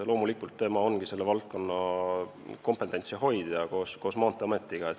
Loomulikult tema ongi selle valdkonna kompetentsi hoidja koos Maanteeametiga.